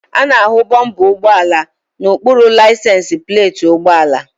A na-ahụ bọmpa ụgbọala n'okpuru laisensi pleeti ụgbọala.